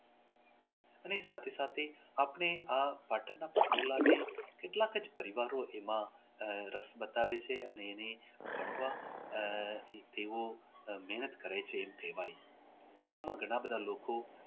અને સાથે સાથે આપને આ પાટણના પટોળા ને કેટલાક જ વિભાગો એમાં રસ બતાવે છે અને એ ઘડવા આહ તેઓ મહેનત કરે છે એવા આમાં ઘણા બધા લોકો